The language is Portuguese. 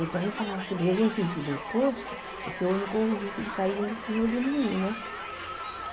Então, eu falava assim, bem, eu vou no sentido oposto, porque eu não corro o risco de cair nesse redemoinho, né?